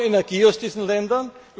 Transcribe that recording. Wir wollen Energie aus diesen